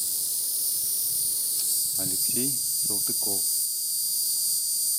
алексей салтыков